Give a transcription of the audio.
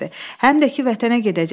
Həm də ki, vətənə gedəcəksən.